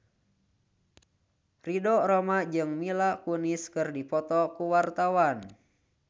Ridho Roma jeung Mila Kunis keur dipoto ku wartawan